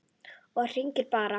Ég hringi bara.